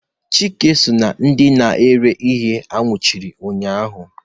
Chike so na ndị nara ihe a nwụchiri ụnyahụ